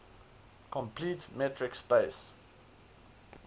complete metric space